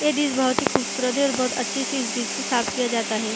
ये डिश बहुत ही खूबसूरत है और बहुत अच्छे से इस डिश को साफ़ किया जाता है ।